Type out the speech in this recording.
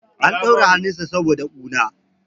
an daure hannunsa saboda kuna